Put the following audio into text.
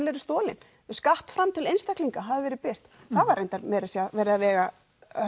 eru stolin skattframtöl einstaklinga hafa verið birt það var reyndar meira að segja verið að vega